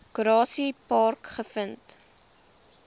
grassy park gevind